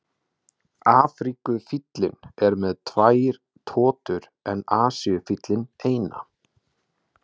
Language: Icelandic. Afríkufíllinn er með tvær totur en Asíufíllinn eina.